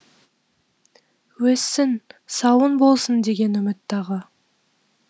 өссін сауын болсын деген үміт тағы